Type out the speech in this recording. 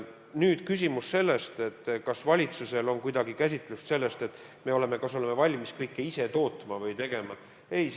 Nüüd, kas valitsusel on mingi käsitlus sellest, et me oleme valmis kõike ise tootma või tegema?